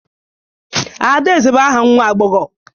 Adaeze bụ aha nwa agbọghọ